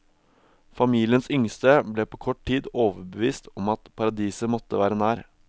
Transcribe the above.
Familiens yngste ble på kort tid overbevist om at paradiset måtte være nær.